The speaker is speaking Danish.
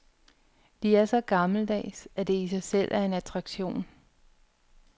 De er så gammeldags, at det i sig selv er en attraktion.